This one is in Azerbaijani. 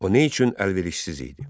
O nə üçün əlverişsiz idi?